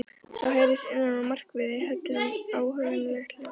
Þá heyrist innan úr myrkvaðri höllinni óhugnanlegt hljóð.